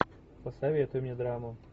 посоветуй мне драму